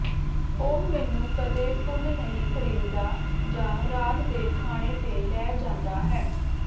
ਉਹ ਮੈਨੂੰ ਕਦੇ ਫੁੱਲ ਨਹੀਂ ਖਰੀਦਦਾ ਜਾਂ ਰਾਤ ਦੇ ਖਾਣੇ ਤੇ ਲੈ ਜਾਂਦਾ ਹੈ